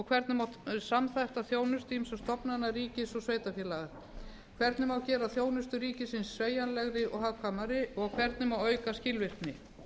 hvernig má samþætta þjónustu ýmissa stofnana ríkis og sveitarfélaga hvernig má gera þjónustu ríkisins sveigjanlegri og hagkvæmari hvernig má auka skilvirkni